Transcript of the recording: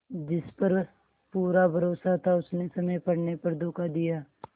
जिस पर पूरा भरोसा था उसने समय पड़ने पर धोखा दिया